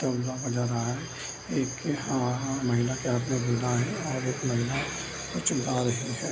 तबला बजा रहा है एक महिला के हाथ में गुलदान है और एक महिला कुछ गा रही है।